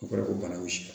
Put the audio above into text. O kɔrɔ ye ko bana bɛ si la